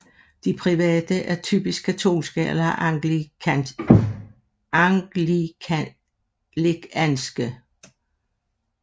De private er typisk katolske eller anglikanske